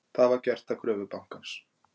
Það var gert að kröfu bankans